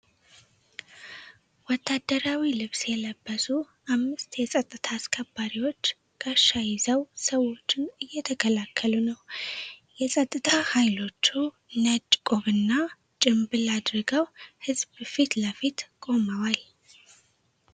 ወታደራዊ ልብስ የለበሱ አምስት የፀጥታ አስከባሪዎች ጋሻ ይዘው ሰዎችን እየተከላከሉ ነው። የፀጥታ ኃይሎቹ ነጭ ቆብና ጭምብል አድርገው ሕዝብ ፊት ለፊት ቆመዋል።